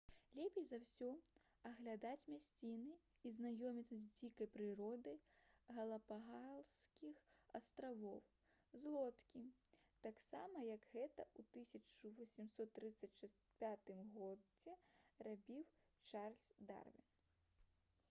лепей за ўсе аглядаць мясціны і знаёміцца з дзікай прыродай галапагаскіх астравоў з лодкі таксама як гэта ў 1835 г рабіў чарльз дарвін